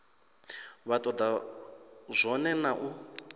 vha toda zwone na u